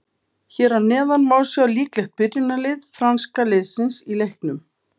Hér að neðan má sjá líklegt byrjunarlið franska liðsins í leiknum.